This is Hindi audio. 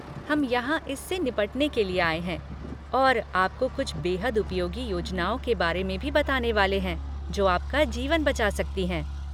हम यहाँ इससे निपटने के लिए आए हैं और आपको कुछ बेहद उपयोगी योजनाओं के बारे में भी बताने वाले हैं, जो आपका जीवन बचा सकती हैं।